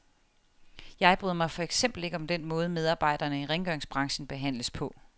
Jeg bryder mig for eksempel ikke om den måde, medarbejdere i rengøringsbranchen behandles på.